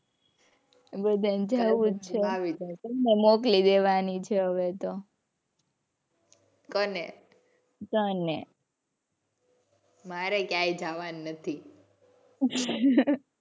બધા ને જવું જ છે. તને મોકલી દેવાની છે હવે તો. કોને? તને. મારે ક્યાંય જાવાનું નથી.